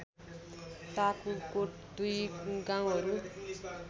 ताकुकोट दुई गाउँहरू